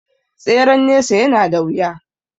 Tseren nesa ya na da wuya